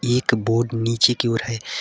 एक बोर्ड नीचे की ओर है।